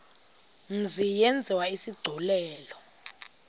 mzi yenziwe isigculelo